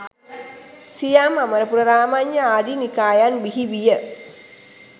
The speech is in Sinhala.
සියම්, අමරපුර, රාමඤ්ඤ ආදී නිකායන් බිහි විය.